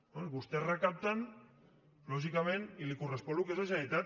bé vostès recapten lògicament i els correspon al que és la generalitat